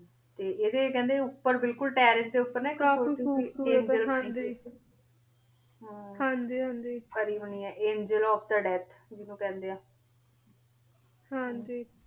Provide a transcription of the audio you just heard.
ਤੇ ਏਡੇ ਕੇਹੰਡੀ ਉਪਰ ਬਿਲਕੁਲ ਤੇਰ੍ਰੇਸ ਦੇ ਉਪਰ ਨਾ ਏਇਕ photo ANGEL of the death ਹਾਂਜੀ ਹਾਂਜੀ ਹਾਂਜੀ ਬਾਨੀ ਹੋਣੀ ਆਯ ਏੰਗੇਲ ਓਫ ਥੇ ਦਾਥ ਜਿਨੋਂ ਕੇਹੰਡੀ ਆ ਹਾਂਜੀ